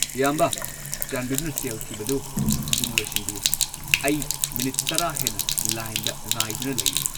ꯑꯌꯥꯝꯕ, ꯆꯥꯟꯕꯤꯗꯨꯅ ꯁꯦꯜ ꯊꯤꯕꯗꯨ ꯊꯨꯅ ꯂꯣꯏꯁꯤꯟꯕꯤꯌꯨ! ꯑꯩ ꯃꯤꯅꯤꯠ ꯱꯰ ꯍꯦꯟꯅ ꯂꯥꯏꯟꯗ ꯉꯥꯏꯗꯨꯅ ꯂꯩꯔꯤꯅꯦ꯫